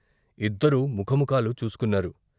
ఇద్దరూ ముఖముఖాలు చూసుకున్నారు.